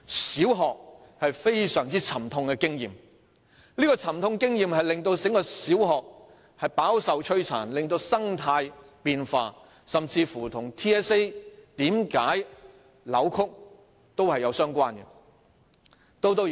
小學有非常沉痛的經驗，這沉痛的經驗令小學飽受摧殘，令生態發生變化，這亦與 TSA 為何出現扭曲有關。